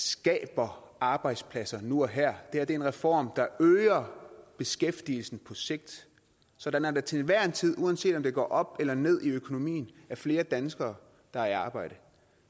skaber arbejdspladser nu og her det her er en reform der øger beskæftigelsen på sigt sådan at der til enhver tid uanset om det går op eller ned i økonomien er flere danskere der er i arbejde